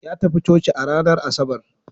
Ya tafi coci ranar Asabar.